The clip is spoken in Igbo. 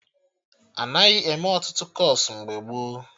Anaghị eme Ọtụtụ kọọsụ mgbe gboo